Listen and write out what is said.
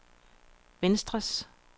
venstres